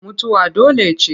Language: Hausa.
Mutuwa dole ce.